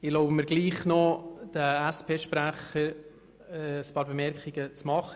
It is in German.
Ich erlaube mir dennoch, zuhanden des SP-Sprechers ein paar Bemerkungen zu machen.